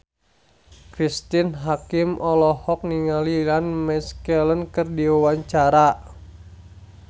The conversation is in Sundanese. Cristine Hakim olohok ningali Ian McKellen keur diwawancara